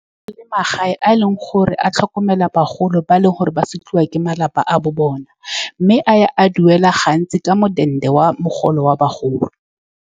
Le magae a e leng gore a tlhokomela bagolo, ba e le gore ba sekiwa ke malapa a bo bona, mme a duela gantsi ka modende wa mogolo wa bagolo.